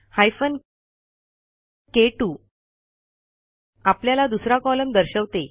hyphen के2 आपल्याला दुसरा कॉलम दर्शवते